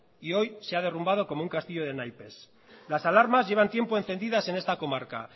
y hoy se ha derrumbado como un castillo de naipes las alarmas llevan tiempo encendidas en esta comarca